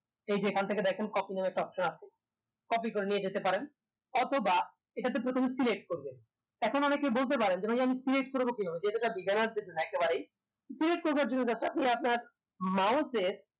এই যে এখান থেকে দেখেন copy নামের একটা option আছে copy করে নিয়ে যেতে পারেন অথবা এটাতে প্রথমে select করবেন এখন অনেকেই বলতে পারেন যে ভাইয়া আমি select করবো কিভাবে যেহেতু এটা beginner দের জন্য একেবারেই select করবার জন্য just আপনি আপনার mouse এর